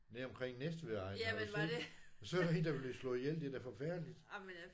Nede omkring Næstvedegnen har du set så er der en der er blevet slået ihjel det er da forfærdeligt